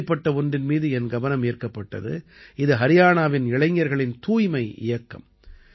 இப்படிப்பட்ட ஒன்றின் மீது என் கவனம் ஈர்க்கப்பட்டது இது ஹரியாணாவின் இளைஞர்களின் தூய்மை இயக்கம்